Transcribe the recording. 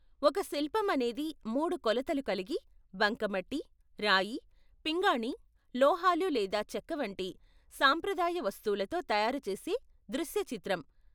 ఒక శిల్పం అనేది మూడు కొలతలు కలిగి, బంకమట్టి, రాయి, పింగాణీ, లోహాలు లేదా చెక్క వంటి సాంప్రదాయ వస్తువులతో తయారు చేసే దృశ్య చిత్రం.